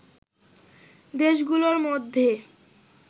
দেশগুলোর মধ্যে